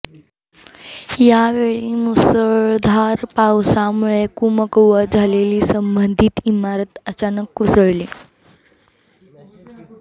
या वेळी मुसळधार पावसामुळे कमकुवत झालेली संबंधित इमारत अचानक काेसळली